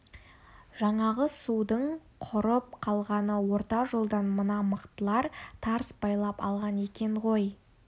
жаңағы судың құрып қалғаны орта жолдан мына мықтылар тарс байлап алған екен ғой